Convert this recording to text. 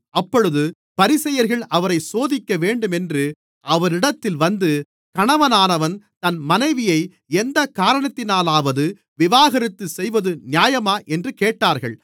அப்பொழுது பரிசேயர்கள் அவரைச் சோதிக்கவேண்டுமென்று அவரிடத்தில் வந்து கணவனானவன் தன் மனைவியை எந்தக்காரணத்தினாலாவது விவாகரத்து செய்வது நியாயமா என்று கேட்டார்கள்